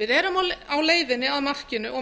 við erum á leiðinni að markinu og